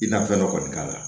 I ka fɛn dɔ kɔni k'a la